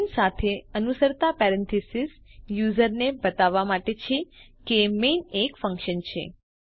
main સાથે અનુસરતા parenthesis યુઝરને એ બતાવવા માટે છે કે મેઇન એક ફન્કશન છે